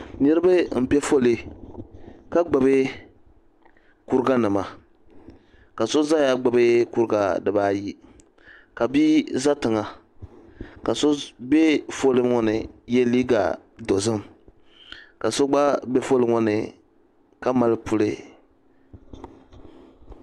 Niribi mpɛ foolii ka gbubi kuriga nima ka so nzɛya gbubi kurga diba ayi ka bia za tiŋa ka so bɛɛ foolii ŋɔ n yɛ liiga dozim ka so gba bɛ foolii ŋɔ ni ka mali puli.